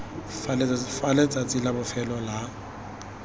fa letsatsi la bofelo la